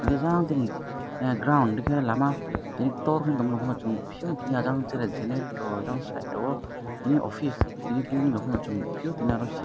hingke jang tini ground dike lama tini tor hing tormo chong nog pio tini ajang tere generator ajang site o tini office tini printing rohorma nogpio tini oro phi --.